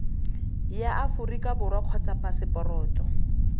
ya aforika borwa kgotsa phaseporoto